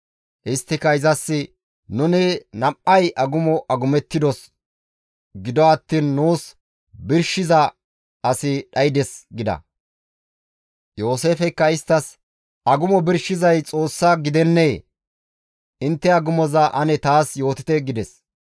Isttika izas, «Nuni nam7ay agumo agumettidos; gido attiin nuus birshiza asi dhaydes» gida. Yooseefeykka isttas, «Agumo birshizay Xoossa gidennee? Intte agumoza ane taas yootite» gides.